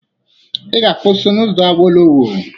Ị ga-akwụsị n'ụzọ Awolowo.